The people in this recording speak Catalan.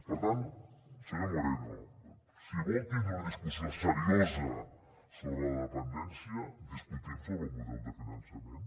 per tant senyor moreno si vol tindre una discussió seriosa sobre la dependència discutim sobre el model de finançament